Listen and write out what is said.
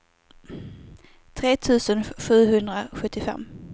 tre tusen sjuhundrasjuttiofem